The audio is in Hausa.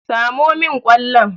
Samo min kwallon!